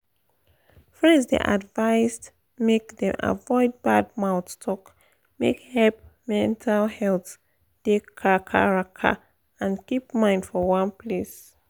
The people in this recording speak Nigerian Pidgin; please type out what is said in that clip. friends dey advised make dem avoid bad mouth talk make help mental health da kakaraka and keep mind for one place